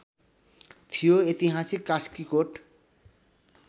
थियो ऐतिहासिक कास्कीकोट